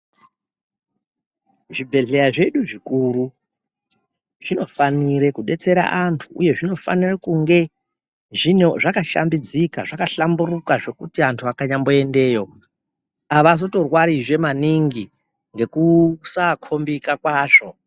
Zvibhedhleya zvedu zvikuru, zvinofanire kubetsera antu uye zvinofanire kunge zvakashambidzika, zvakahlamburuka zvekuti antu akanyamboendeyo, havazotorwarizve maningi ngekusakombika kwazvo.